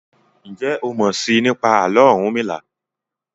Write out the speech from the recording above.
Njé o mọ sii nípa Àló̩ Orunmila?